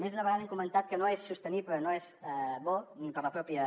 més d’una vegada hem comentat que no és sostenible no és bo per a la pròpia